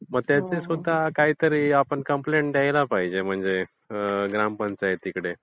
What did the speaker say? मग त्याची सुद्धा काहीतरी आपण कंप्लेंट द्यायला पाहिजे ग्रामपंचायतीकडे.